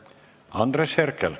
Andres Herkel.